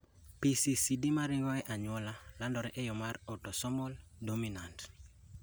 PCCD maringo e anyuola landore e yo mar autosomal dominant